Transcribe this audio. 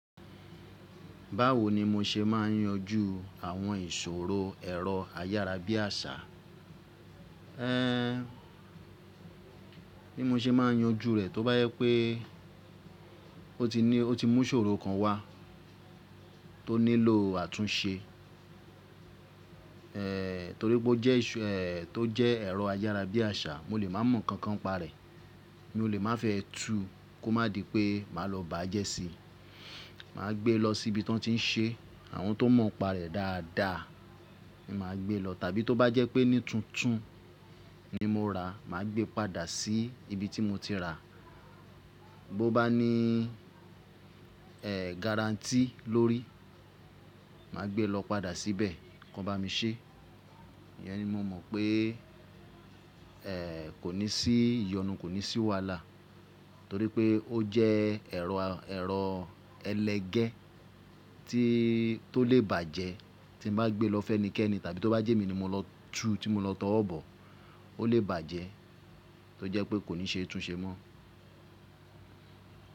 Báwo ni mó ṣe ma n yanjú àwọn ìṣòro ẹ̀rọ ayárabíàṣà, ẹ́, Bí mó ṣe ma n yanju rẹ̀? Tó bá jẹ pé ó ti ní, ó ti mú iṣòro kan wá tó nílò àtúnse, ẹ́ torí pé ó jẹ́ ìṣu, ẹ́ tó jẹ́ ẹ̀rọ ayárabíàṣà, mó lè má mọ nǹkan kan pa rẹ̀, mó lè má fẹ́ tu kó má dì pé má lọ bàájẹ́ sí i. Má gbé e lọ sí ibi tí wọ́n tí n ṣe àwọn tó mọ npa rẹ̀ dáadáa, ní má gbé lọ. Tàbí tó bá jẹ́ pé ní tuntun ni mó ra, má gbé padà sí ibi tí mó ti rà. Bo bá ní ẹ́ guarantee lórí, má gbé e lọ padà síbẹ̀ kí wọ́n bá mi ṣe. Iyẹn ni mó mọ̀ pé ẹ́ kò ní sí ìyọnu, kò ní sí wàhalá, torí pé ó jẹ́ ẹ̀rọ, ẹ̀rọ ẹlẹ́gẹ́ tí tó lè bàjẹ́ tí mó bá gbé e lọ fẹ́nikẹ́ẹ́nì tàbí tó bá jẹ́ èmi ni mó lọ tu tí mó lọ t'ọwọ bọ, ó lè bàjẹ́ tó jẹ́ pé kò ní ṣe é tún ṣe mọ.